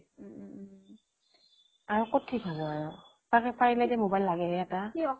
আৰু ক'ত ঠিক হব আৰু তাকেই পাৰিলে মোবাইল লাগেহে এটা